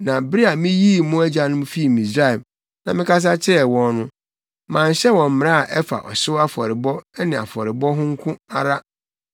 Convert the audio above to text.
Na bere a miyii mo agyanom fii Misraim na mekasa kyerɛɛ wɔn no, manhyɛ wɔn mmara a ɛfa ɔhyew afɔrebɔ ne afɔrebɔ ho nko ara,